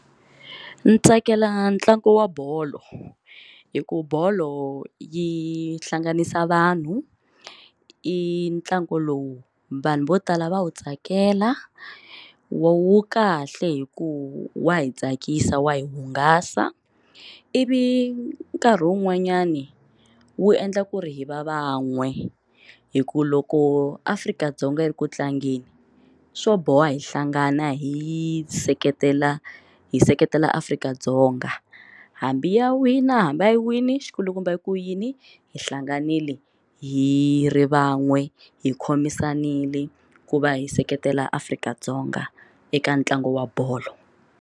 Ni tsakela ntlangu wa bolo hi ku bolo yi hlanganisa vanhu i ntlangu lowu vanhu vo tala va wu tsakela wu kahle hi ku wa hi tsakisa wa hi hungasa ivi nkarhi wun'wanyani wu endla ku ri hi va van'we hi ku loko Afrika-Dzonga yi ri ku tlangeni swo boha hi hlangana hi seketela hi hi seketela Afrika-Dzonga hambi ya wina hambi a yi wine xikulukumba hi ku yini hi hlanganile hi ri van'we hi khomisanile ku va hi seketela afrika dzonga eka ntlangu wa bolo.